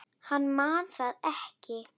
Hann man það ekki.